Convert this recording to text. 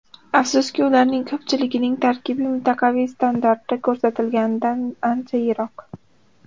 Afsuski, ularning ko‘pchiligining tarkibi mintaqaviy standartda ko‘rsatilganidan ancha yiroq.